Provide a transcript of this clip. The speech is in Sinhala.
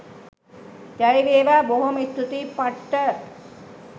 ජයවේවා.බොහෝම ස්තූතියි! පට්ට.